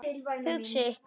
Hugsið ykkur.